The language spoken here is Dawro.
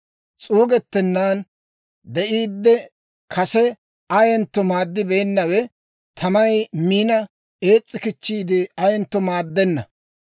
S'uugettennan de'iiddi, kase ayentto maaddibeennawe, tamay miina ees's'i kichchiide ayentto maaddenna.